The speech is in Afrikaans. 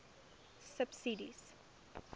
subsidies